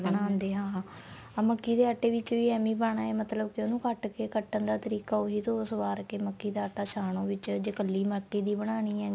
ਬਣਾਦੇ ਏ ਆਹ ਮੱਕੀ ਦੇ ਆਟੇ ਦੇ ਵਿੱਚ ਵੀ ਐਵੇ ਈ ਪਾਣਾ ਮਤਲਬ ਕੀ ਉਹਨੂੰ ਕੱਟ ਕੇ ਕਟਣ ਦਾ ਤਰੀਕਾ ਉਹੀ ਧੋ ਸਵਾਰ ਕੇ ਮੱਕੀ ਦਾ ਆਟਾ ਛਾਨੋ ਵਿੱਚ ਜੇ ਕੱਲੀ ਮੱਕੀ ਦੀ ਬਣਾਨੀ ਏ